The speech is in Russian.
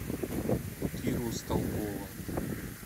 киру столбова